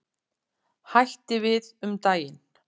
Hætti við um daginn.